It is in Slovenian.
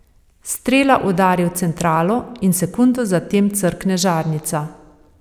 Strela udari v centralo in sekundo za tem crkne žarnica.